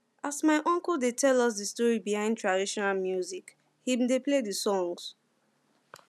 as my uncle dey tell us di story behind traditional music him dey play di songs